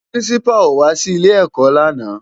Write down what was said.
Pirinsipá ó wá si ilé èkò làná